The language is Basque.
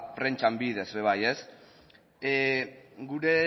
prentsan bidez ere bai gure